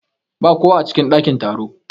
Ba kowa a cikin ɗakin taro.